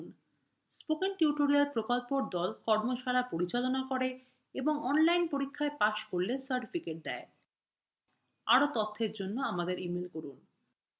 spoken tutorial প্রকল্প the কর্মশালা পরিচালনা করে এবং online পরীক্ষায় পাস করলে certificates দেয় আরো তথ্যের জন্য আমাদের ইমেল করুন